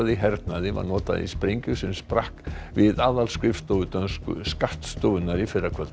hernaði var notað í sprengju sem sprakk við aðalskrifstofu dönsku skattstofunnar í fyrrakvöld